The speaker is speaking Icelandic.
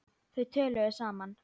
Þau töluðu saman.